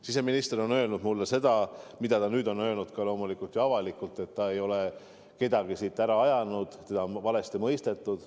Siseminister on öelnud mulle seda, mida ta nüüd on öelnud loomulikult ka avalikult, et ta ei ole kedagi siit ära ajanud, teda on valesti mõistetud.